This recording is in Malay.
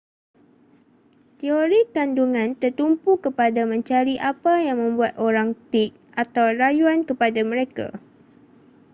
teori kandungan tertumpu kepada mencari apa yang membuat orang tik atau rayuan kepada mereka